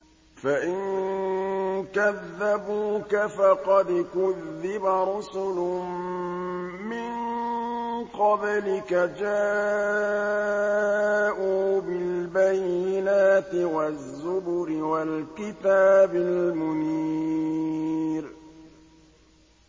فَإِن كَذَّبُوكَ فَقَدْ كُذِّبَ رُسُلٌ مِّن قَبْلِكَ جَاءُوا بِالْبَيِّنَاتِ وَالزُّبُرِ وَالْكِتَابِ الْمُنِيرِ